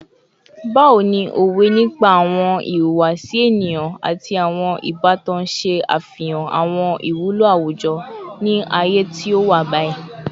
Bawo ni awọn owe nipa awọn ihuwasi eniyan ati awọn ibatan ṣe afihan awọn iwulo awujọ ni aaye ti o wa bayi?